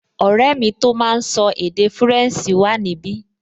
Ọ̀rẹ́ mi tó máa n sọ èdè fúrẹ̀nsì wà níbi